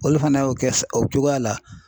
Olu fana y'o kɛ o cogoya la .